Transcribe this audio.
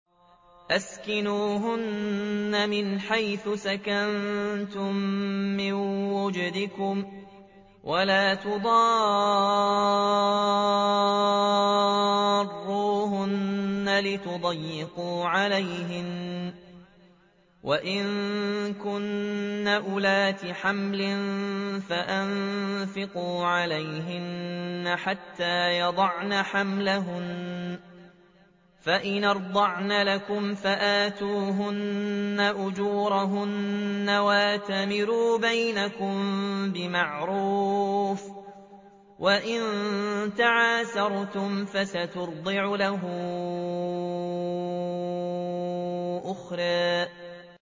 أَسْكِنُوهُنَّ مِنْ حَيْثُ سَكَنتُم مِّن وُجْدِكُمْ وَلَا تُضَارُّوهُنَّ لِتُضَيِّقُوا عَلَيْهِنَّ ۚ وَإِن كُنَّ أُولَاتِ حَمْلٍ فَأَنفِقُوا عَلَيْهِنَّ حَتَّىٰ يَضَعْنَ حَمْلَهُنَّ ۚ فَإِنْ أَرْضَعْنَ لَكُمْ فَآتُوهُنَّ أُجُورَهُنَّ ۖ وَأْتَمِرُوا بَيْنَكُم بِمَعْرُوفٍ ۖ وَإِن تَعَاسَرْتُمْ فَسَتُرْضِعُ لَهُ أُخْرَىٰ